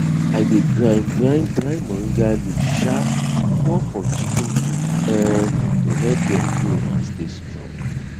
i dey grind grind dry moringa leaf um pour for chicken feed um to help dem grow and stay strong